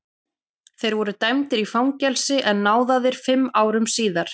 Þeir voru dæmdir í fangelsi en náðaðir fimm árum síðar.